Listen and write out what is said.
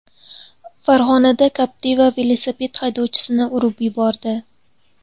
Farg‘onada Captiva velosiped haydovchisini urib yubordi.